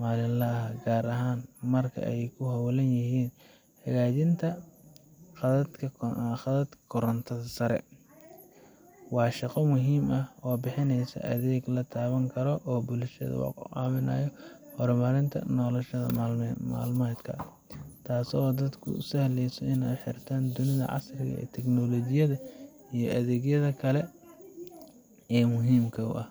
maalinlaha ah, gaar ahaan marka ay ku hawlan yihiin hagaajinta khadadka korontada sare. Waa shaqo muhiim ah oo bixinaysa adeeg la taaban karo oo bulshada ka caawinaya horumarinta nolol maalmeedka, taasoo dadka u sahleysa inay ku xirmaan dunida casriga ah ee tignoolajiyada iyo adeegyada kale ee muhiimka u ah.